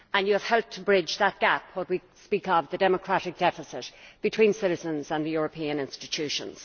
You have helped to bridge that gap, when we speak of the democratic deficit between citizens and the European institutions.